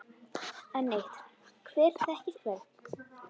Enn eitt: Hver þekkir hvern?